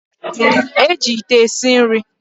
E ji ite esi nri.